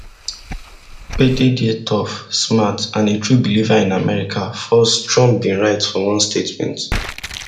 pete dey tough smart and a true believer in america first trump bin write for one statement